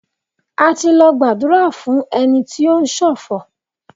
A ti lọ gbàdúrà fún ẹni tí ó ń sọ̀fọ̀.